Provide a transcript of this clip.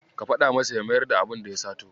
Ka faɗa masa ya mayar da abunda ya sato.